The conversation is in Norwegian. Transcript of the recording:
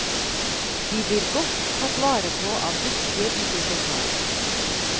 De blir godt tatt vare på av dyktige bibliotekarer.